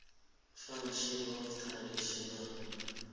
functions of traditional